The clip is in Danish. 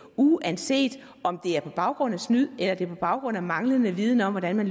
uanset om det er på baggrund af snyd eller det er på baggrund af manglende viden om hvordan man